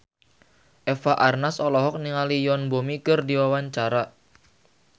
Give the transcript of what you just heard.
Eva Arnaz olohok ningali Yoon Bomi keur diwawancara